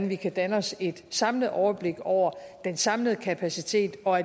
vi kan danne os et samlet overblik over den samlede kapacitet og